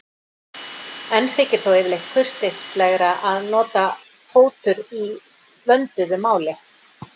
Enn þykir þó yfirleitt kurteislegra að nota fótur í vönduðu máli.